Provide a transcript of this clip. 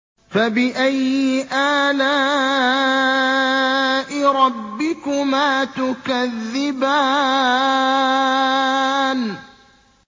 فَبِأَيِّ آلَاءِ رَبِّكُمَا تُكَذِّبَانِ